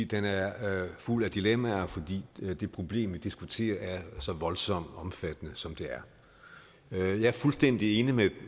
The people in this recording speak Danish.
den er fuld af dilemmaer fordi det problem vi diskuterer er så voldsomt omfattende som det er jeg er fuldstændig enig